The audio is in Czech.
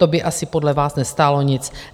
To by asi podle vás nestálo nic.